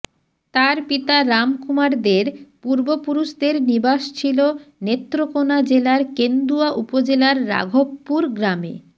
তার পিতা রাম কুমার দের পূর্বপুরুষদের নিবাস ছিল নেত্রকোণা জেলার কেন্দুয়া উপজেলার রাঘবপুর গ্রামে